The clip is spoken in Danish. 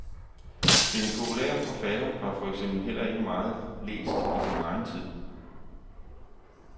Den populære forfatter var for eksempel heller ikke meget læst i sin egen tid.